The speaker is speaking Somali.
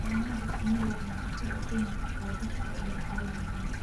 Xannaanada shinnidu waxay khatar u keeni kartaa dadka iyo xoolaha kale.